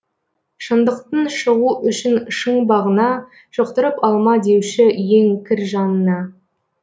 шындықтың шығу үшін шың бағына жұқтырып алма деуші ең кір жаныңа